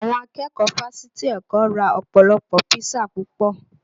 Àwọn akẹ́kọ̀ọ́ fásitì Èkó ra ọpọlọpo písà púpọ̀